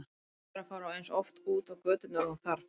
Ákveður að fara eins oft út á göturnar og hún þarf.